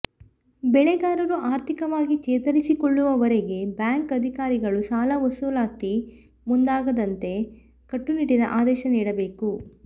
ಬೆಳೆಗಾರರು ಆರ್ಥಿಕವಾಗಿ ಚೇತರಿಸಿಕೊಳ್ಳುವವರೆಗೆ ಬ್ಯಾಂಕ್ ಅಧಿಕಾರಿಗಳು ಸಾಲ ವಸೂಲಾತಿಗೆ ಮುಂದಾಗದಂತೆ ಕಟ್ಟುನಿಟ್ಟಿನ ಆದೇಶ ನೀಡಬೇಕು